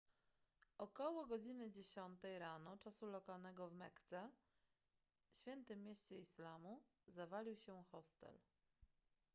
około godziny dziesiątej rano czasu lokalnego w mekce świętym mieście islamu zawalił się hostel